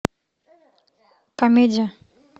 комедия